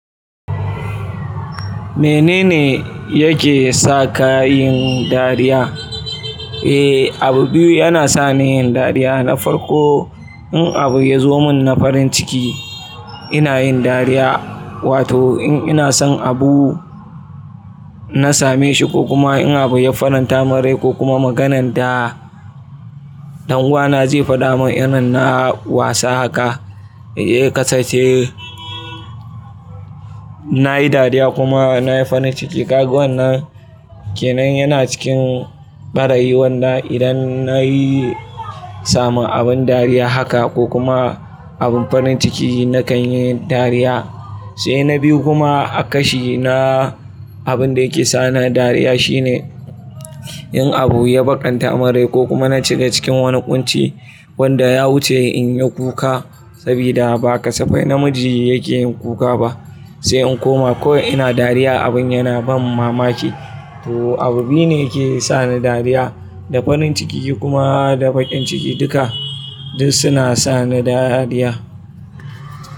Menene yake sa ka yin dariya? Eh, abu biyu yana sa ni yin dariya. Na farko, in abu ya zo mun na farin ciki, ina yin dariya. Wato in ina son abu, na same shi ko kuma in abu ya faranta min rai ko kuma maganan ɗan uwana zai faɗa min irin na wasa haka. He kasan ce, na yi dariya kuma na yi farin ciki. Kaga wannan ke nan yana cikin ɓarayi wannan. Idan na yi samu abin dariya haka ko kuma abin farin ciki, na kan yi dariya. Sai na biyu kuma a kashi na, abin da yake sa ni dariya shine in abu ya bakanta min rai ko kuma na ciga cikin wani ƙunci wanda ya wuce in yi kuka sabida ba kasa fai namiji yake yin kuka ba. Sai in koma, ko ina dariya abin yana ban mamaki. To abu biyu ne ke sa ni dariya, da farin ciki kuma da baƙin ciki. Duka duk suna sa ni dariya.